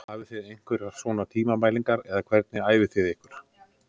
Hafið þið einhverjar svona tímamælingar eða hvernig æfið þið ykkur?